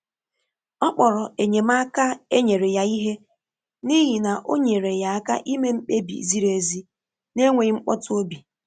Ọ kpọrọ enyemaka e nyere ya ihe, n’ihi na o nyere ya aka ime mkpebi ziri ezi n’enweghị mkpọtụ obi.